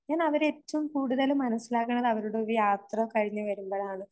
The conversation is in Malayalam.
ഞാനവരെ ഏറ്റവും കൂടുതല് മനസ്സിലാക്കുന്നത് അവരുടെ യാത്ര കഴിഞ്ഞു വരുമ്പഴാണ്.